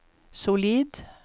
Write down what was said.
solid